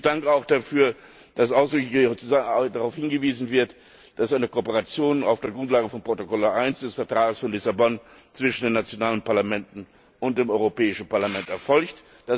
Ich danke auch dafür, dass ausdrücklich darauf hingewiesen wird, dass eine Kooperation auf der Grundlage von Protokoll 1 des Vertrags von Lissabon zwischen den nationalen Parlamenten und dem Europäischen Parlament erfolgt.